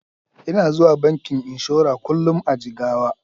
Ina zuwa bankin inshora kullun a Jigawa.